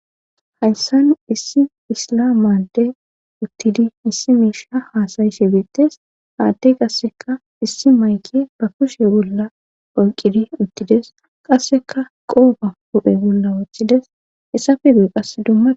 hayssa nu issi isla made uttidi issi miisha haasayi she beettes haadde qasseka issi mayke ba kushe bolla oyqidi uttides qasseka qoofa hu7e bolla wochchides essafe duye qasse dumma